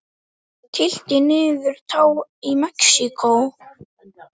Tylltir niður tá í Mexíkó.